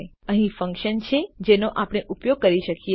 હવે અહીં ફન્કશન છે જેનો આપણે ઉપયોગ કરી શકીએ